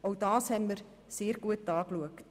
Auch diese haben wir sehr gut angeschaut.